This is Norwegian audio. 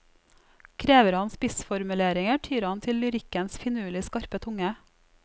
Krever han spissformuleringer, tyr han til lyrikkens finurlig skarpe tunge.